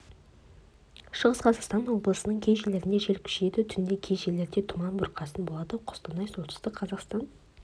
шығыс қазақстан облысының кей жерлерінде жел күшейеді түнде кей жерлерде тұман бұрқасын болады қостанай солтүстік қазақстан